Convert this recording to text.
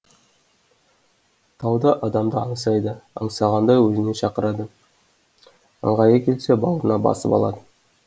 тау да адамды аңсайды аңсағанда өзіне шақырады ыңғайы келсе бауырына басып қалады